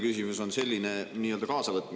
[Esmalt teile palve.